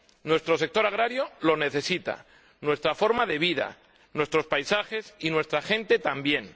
Nuestro sector agrario lo necesita, nuestra forma de vida, nuestros paisajes y nuestra gente, también.